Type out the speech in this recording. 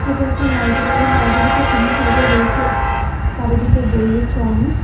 এটা একটা লাইব্রেরি লাইব্রেরিতে তিন সাইডে রয়েছে চারিদিকে বইয়ে ছড়ানো।